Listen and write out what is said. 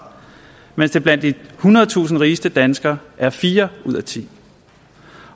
mens det blandt de ethundredetusind rigeste danskere er fire ud tiende